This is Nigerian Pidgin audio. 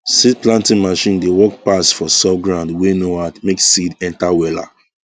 seed planting machine dey work pass for soft ground wey no hard make seed enter wella